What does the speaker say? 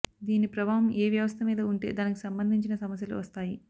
దీని ప్రభావం ఏ వ్యవస్థ మీద ఉంటే దానికి సంబంధించిన సమస్యలు వస్తాయి